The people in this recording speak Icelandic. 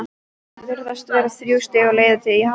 Virðast vera þrjú stig á leið í Hamar?